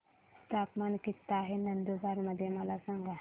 तापमान किता आहे नंदुरबार मध्ये मला सांगा